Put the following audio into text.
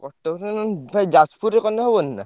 ~କ ~ଟକରେ ଭାଇ ଯାଜପୁରରେ କଲେ ହବନି ନା?